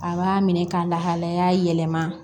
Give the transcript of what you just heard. A b'a minɛ ka lahalaya yɛlɛma